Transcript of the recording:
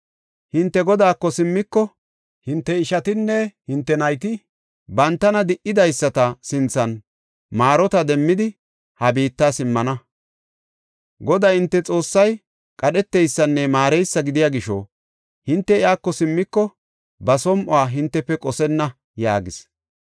Hinte Godaako simmiko hinte ishatinne hinte nayti bantana di77idaysata sinthan maarota demmidi ha biitta simmana. Goday hinte Xoossay qadheteysanne maareysa gidiya gisho hinte iyako simmiko ba som7uwa hintefe qosenna” yaagis.